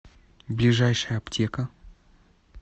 ближайшая аптека